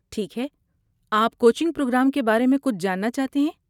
ٹھیک ہے، آپ کوچنگ پروگرام کے بارے میں کچھ جانتے ہیں؟